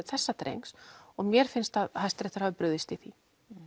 þessa drengs og mér finnst að Hæstiréttur hafi brugðist því